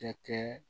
Tɛ kɛ